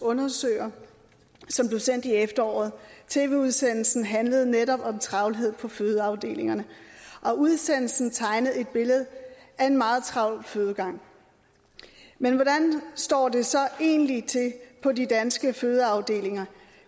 undersøger som blev sendt i efteråret tv udsendelsen handlede netop om travlhed på fødeafdelingerne og udsendelsen tegnede et billede af en meget travl fødegang men hvordan står det så egentlig til på de danske fødeafdelinger